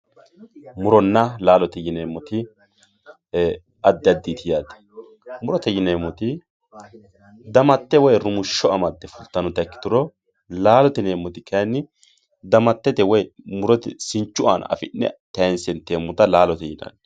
muronna laalote yineemoti addi additi yaate murote yineemoti damatte woye rumushsho amadde fultannota ikkitiru laalote yineemoti kaayiini damatete woye murote sinchu aana afi'ne tayiinse inteemota laalote yinanni.